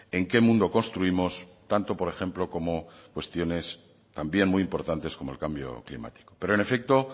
en qué mundo construimos tanto por ejemplo como cuestiones también muy importantes como el cambio climático pero en efecto